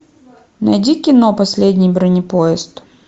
найди кино последний бронепоезд